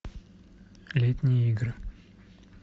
летние игры